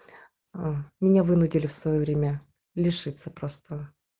аа меня вынудили в своё время лишиться просто